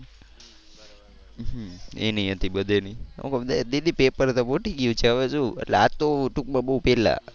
હું કવ દીદી પેપર તો ફૂટી ગયું છે હવે શું એટલે આ તો ટુંકમાં બહુ પહેલા.